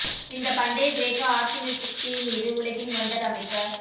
இந்த பண்டைய கிரேக்க ஆர்சனிஸ்ட் தீ மீது உலகின் வொண்டர் அமைக்க